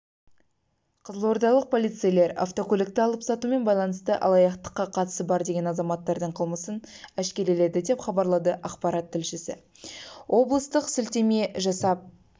қызылордалық полицейлер автокөлікті алып-сатумен байланысты алаяқтыққа қатысы бар деген азаматтардың қылмысын әшкереледі деп хабарлады қазақпарат тілшісі облыстық сілтеме жасап